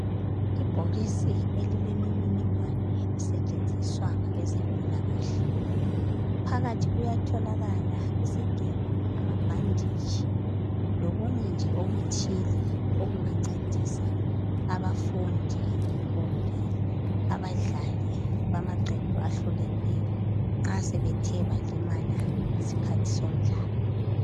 Ibhokisi elile mininingwane lisetshenziswa ngabeze mpilakahle .phakathi kuyatholaka isigelo, amabhanditshi lokunye nje okuthile okungancedisa abafundi kumbe abadlali bamaqembu ahlukeneyo nxa sebethe balimala ngesikhathi somdlalo.